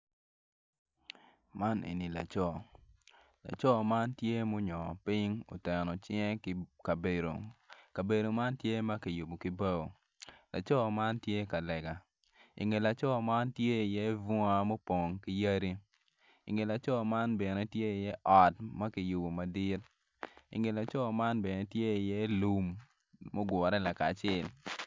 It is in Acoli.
Man eni laco, laco man tye ma onyo piny ka oteno cinge ki kabedo kabedo man tye ma kiyubo ki bao laco man tye ka lega i ngete kono tye bunga ma opong kiyadi i nge laco man kono tye ot ma kiyubo madit i nge laco man bene tye iye lum mugure lakacel.